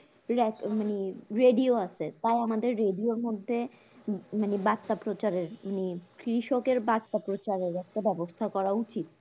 ল্যা মানে radio আছে তাউ আমাদের radio এর মধ্যে মানে বার্তা প্রচার এর মানে কৃষকের বার্তা প্রচার এর একটা ব্যাবস্থা করা উচিত